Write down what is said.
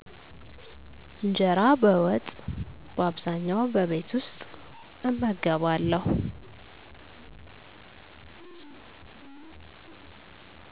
እንጀራ በወጥ በአብዛኛዉ በቤት ዉስጥ እመገባለዉ